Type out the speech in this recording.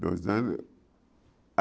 Dois anos.